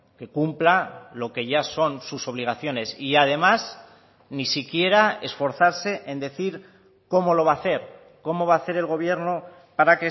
que cumpla lo que ya son sus obligaciones y además ni siquiera esforzarse en decir cómo lo va a hacer cómo va a hacer el gobierno para